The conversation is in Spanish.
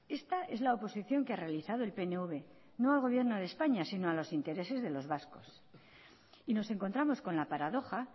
esta es la oposición que ha realizado el pnv no al gobierno de españa sino a los intereses de los vascos y nos encontramos con la paradoja